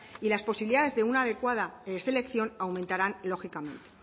y las posibilidades de una adecuada selección aumentarán lógicamente